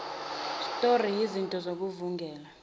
stroyi izinti zokuvungula